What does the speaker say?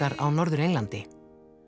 á norðan og